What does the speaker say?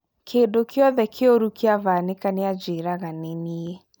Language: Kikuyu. Kĩndu kiothe kĩũru kĩabanĩka nĩajĩraga nĩ niĩ